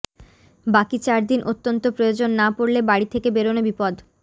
বাকি চারদিন অত্যন্ত প্রয়োজন না পড়লে বাড়ি থেকে বেরনো বিপদ